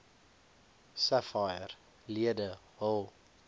sapphire lede hul